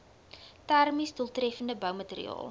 termies doeltreffende boumateriaal